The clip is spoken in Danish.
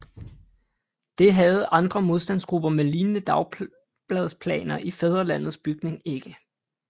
Det havde andre modstandsgrupper med lignende dagbladsplaner i Fædrelandets bygning ikke